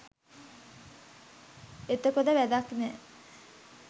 එතකොට වැඩක් නැහැ.